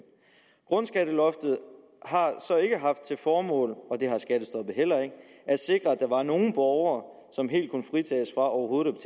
grundskatteloftet har så ikke haft til formål og det har skattestoppet heller ikke at sikre at der var nogle borgere som helt kunne fritages fra overhovedet